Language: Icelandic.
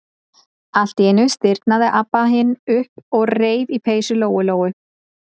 Allt í einu stirðnaði Abba hin upp og reif í peysu Lóu-Lóu.